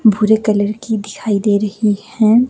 बूरे colour की दिखाई दे रही हैं।